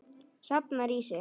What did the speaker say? Safnar í sig.